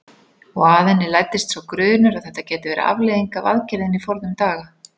Og að henni læddist sá grunur að þetta gæti verið afleiðing af aðgerðinni forðum daga.